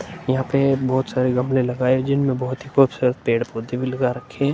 यहाँ पे बहोत सारे गमले लगाए हैं। जिनमें बहोत्त ही बोहोत सारे पेड़-पौधे भी लगा रखे हैं।